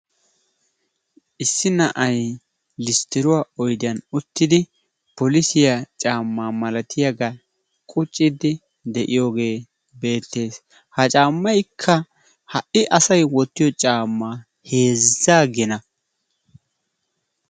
Issi na'ay listtiruwaa oydiyaan uttidi polissiyaa caammaa malatiyaagaa quucciidi de'iyoogee beettes. Ha caammaykka ha'i asay wottiyoo caammaa heezzaa gina.